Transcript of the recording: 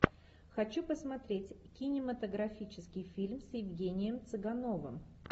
хочу посмотреть кинематографический фильм с евгением цыгановым